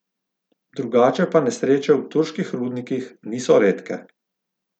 Drugače pa nesreče v turških rudnikih niso redke.